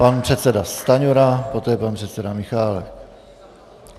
Pan předseda Stanjura, poté pan předseda Michálek.